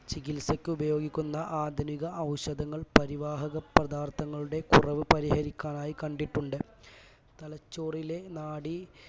ചികിത്സക്ക് ഉപയോഗിക്കുന്ന ആധുനിക ഔഷധങ്ങൾ പരിവാഹക പദാർത്ഥങ്ങളുടെ കുറവ് പരിഹരിക്കാനായി കണ്ടിട്ടുണ്ട് തലച്ചോറിലെ നാഡീ